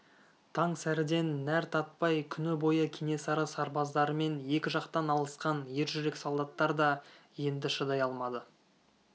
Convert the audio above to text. таң сәріден нәр татпай күні бойы кенесары сарбаздарымен екі жақтан алысқан ер жүрек солдаттар да енді шыдай алмады